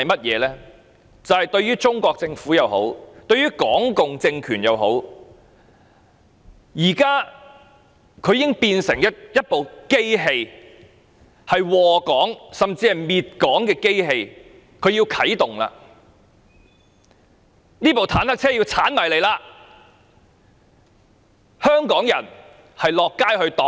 現時中國政府或港共政權已變成一部禍港甚至滅港的機器，它啟動了，這部坦克車要衝過來了，香港人要到街上抵擋。